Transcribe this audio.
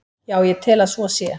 Já, ég tel að svo sé.